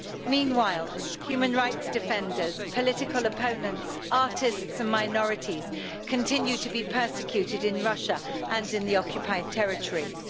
Meanwhile, human rights defenders, political opponents, artists and minorities continue to be persecuted in Russia and in the occupied territories.